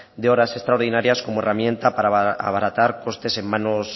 de horas extraordinarias como herramienta para abaratar costes en mano